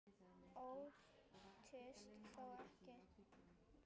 Óttist þó ekki.